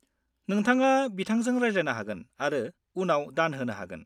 नोंथाङा बिथांजों रायज्लायनो हागोन आरो उनाव दान होनो हागोन।